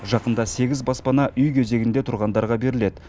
жақында сегіз баспана үй кезегінде тұрғандарға беріледі